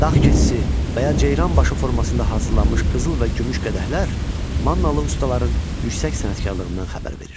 Dağ keçisi və ya ceyran başı formasında hazırlanmış qızıl və gümüş qədəhlər mannalı ustaların yüksək sənətkarlığından xəbər verir.